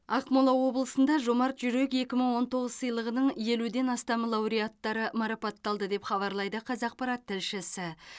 ақмола облысында жомарт жүрек екі мың он тоғыз сыйлығының елуден астам лауреаттары марапатталды деп хабарлайды қазақпарат тілшісі